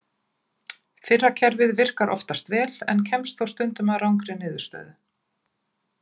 Fyrra kerfið virkar oftast vel en kemst þó stundum að rangri niðurstöðu.